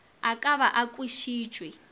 a ka ba a kwešitšwe